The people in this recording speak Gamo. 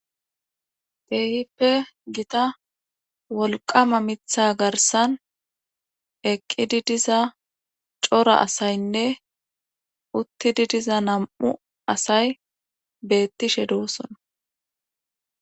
Keehippe gita wolqama mitha garsan eqqidi diza cora asaynne uttidi diza nam7u asay beettishe doossona